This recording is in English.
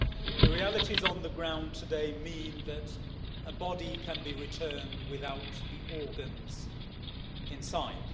The realities on the ground today mean that a body can be returned without the organs inside.